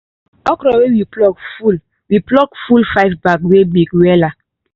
okro wey we pluck full we pluck full five bags wey big wela